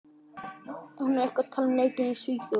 En er eitthvað talað um leikinn í Svíþjóð?